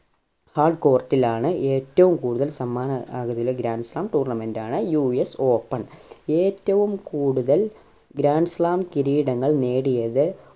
ആ court ലാണ് ആണ് ഏറ്റവും കൂടുതൽ സമ്മാനം grand slam tournament ആണ് US Open ഏറ്റവും കൂടുതൽ grand slam കിരീടങ്ങൾ നേടിയത്